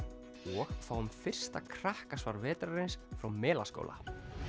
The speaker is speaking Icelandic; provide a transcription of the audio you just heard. og fáum fyrsta vetrarins frá Melaskóla